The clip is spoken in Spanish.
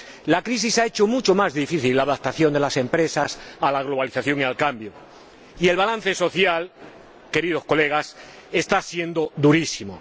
La crisis ha hecho mucho más difícil la adaptación de las empresas a la globalización y al cambio, y el balance social, queridos colegas, está siendo durísimo.